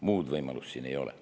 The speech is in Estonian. Muud võimalust siin ei ole.